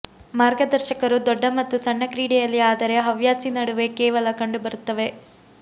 ಮಾರ್ಗದರ್ಶಕರು ದೊಡ್ಡ ಮತ್ತು ಸಣ್ಣ ಕ್ರೀಡೆಯಲ್ಲಿ ಆದರೆ ಹವ್ಯಾಸಿ ನಡುವೆ ಕೇವಲ ಕಂಡುಬರುತ್ತವೆ